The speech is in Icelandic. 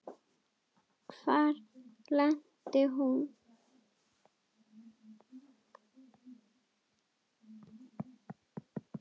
Hvar lenti hún?